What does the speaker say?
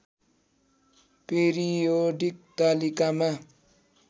periodic तालिकामा